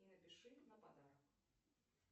и напиши на подарок